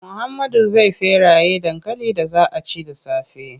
Muhammadu zai feraye dankalin da za a ci da safe.